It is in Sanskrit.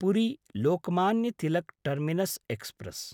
Puri Lokmanya Tilak terminus express